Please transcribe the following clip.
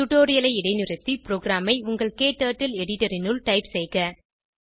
டுடோரியலை இடைநிறுத்தி ப்ரோகிராமை உங்கள் க்டர்ட்டில் எடிட்டர் இனுள் டைப் செய்க